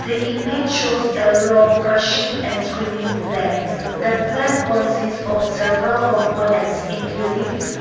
this image shows a rock crushing and screening plan the plan consist of several components including--